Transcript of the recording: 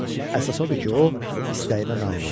Əsas odur ki, o istəyinə nail oldu.